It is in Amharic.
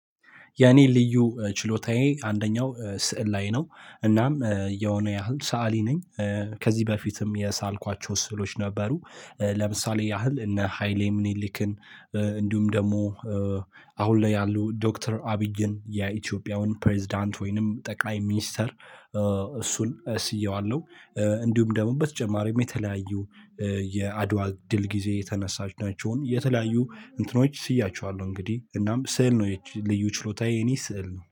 የኔ ልዩ ችሎታዬ አንደኛው ስዕል ላይ ነው የሆነ ያህል ሰአሊ ነኝ። ከዚህ በፊትም የሳልኳቸው ስዕሎች ነበሩ። ለምሳሌ ያህል እነ ሃይሌ ምኒልክን እንዲሁም ደግሞ አሁን ላይ ያሉ ዶክተር አብይን የኢትዮጵያውን ፕሬዝዳንት ወይንም ጠቃሚ ሚኒስተር እሱን ስዬዋለሁ። እንዲሁም ደግሞ በተጨማሪም የተለያዩ የአድዋ ድል ጊዜ የተነናቸውን የተለያዩ እንትኖች ስያቸዋለሁ። እንግዲህ እናም ስዕል ነው የልዩ ችሎታዬ የኔ ስዕል ነው